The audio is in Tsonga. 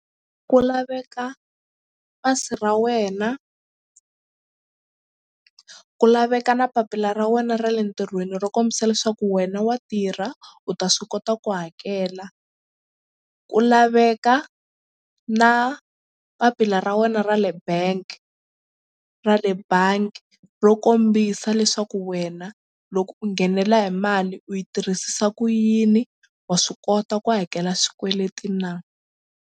Ku laveka pasi ra wena ku laveka na papila ra wena ra le ntirhweni ro kombisa leswaku wena wa tirha u ta swi kota ku hakela ku laveka na papila ra wena ra le bank ra le bangi ro kombisa leswaku wena loko u nghenela hi mali u yi tirhisisa ku yini wa swi kota ku hakela swikweleti na.